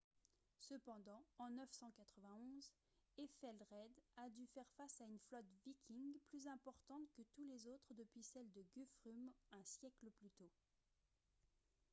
cependant en 991 ethelred a dû faire face à une flotte viking plus importante que toutes les autres depuis celle de guthrum un siècle plus tôt